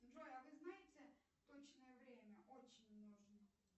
джой а вы знаете точное время очень нужно